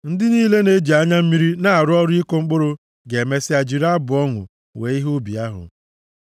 Ndị niile na-eji anya mmiri na-arụ ọrụ ịkụ mkpụrụ ga-emesịa jiri abụ ọṅụ wee ihe ubi ahụ.